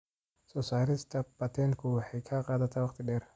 Soo saarista patent-ku waxay qaadataa wakhti dheer.